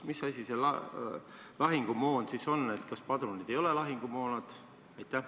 Mis asi see lahingumoon siis on – kas padrunid ei ole lahingumoon?